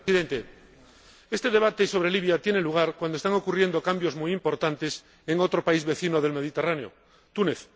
Señor Presidente, este debate sobre Libia tiene lugar cuando están ocurriendo cambios muy importantes en otro país vecino del Mediterráneo, Túnez.